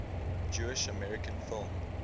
jewish american film